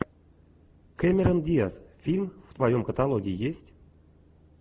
кэмерон диаз фильм в твоем каталоге есть